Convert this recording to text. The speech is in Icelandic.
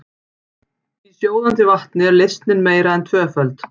Í sjóðandi vatni er leysnin meira en tvöföld.